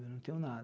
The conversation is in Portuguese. Eu não tenho nada.